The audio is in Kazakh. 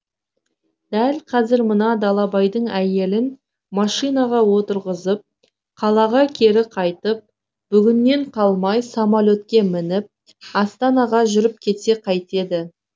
дәл қазір мына далабайдың әйелін машинаға отырғызып қалаға кері қайтып бүгіннен қалмай самолетке мініп астанаға жүріп кетсе қайтеді